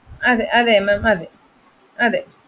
അതെ അതെ ma'am അതെ